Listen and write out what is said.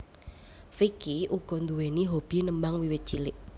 Vicky uga nduwèni hobi nembang wiwit cilik